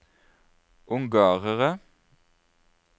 ungarere